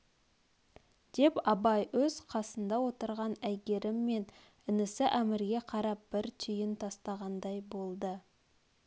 деп абай өз қасында отырған әйгерім мен інісі әмірге қарап бір түйін тастағандай болды